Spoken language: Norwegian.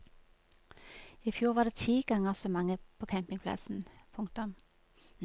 I fjor var det ti ganger så mange på campingplassen. punktum